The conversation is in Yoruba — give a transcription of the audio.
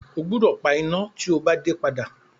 O gbúdọ̀ pa iná tí o bá dé padà.